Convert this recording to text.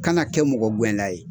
Kana kɛ mɔgɔ gɛnna ye